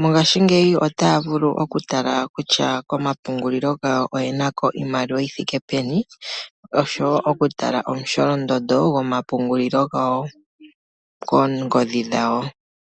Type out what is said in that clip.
mongaashingeyi otaya vulu okutala kutya komapungulilo gawo oye na ko iimaliwa yithike peni , oshowoo okutala omusholondondo gomapungulilo gawo koongodhi dhawo.